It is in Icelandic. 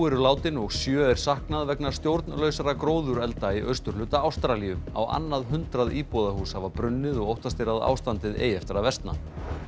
eru látin og sjö er saknað vegna stjórnlausra gróðurelda í austurhluta Ástralíu á annað hundrað íbúðarhús hafa brunnið og óttast er að ástandið eigi eftir að versna